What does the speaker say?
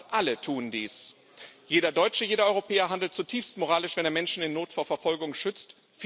Fast alle tun dies. Jeder Deutsche, jeder Europäer handelt zutiefst moralisch, wenn er Menschen in Not vor Verfolgung schützt.